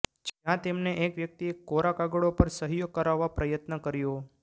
જ્યાં તેમને એક વ્યક્તિએ કોરા કાગળો પર સહીઓ કરાવવા પ્રયત્ન કર્યો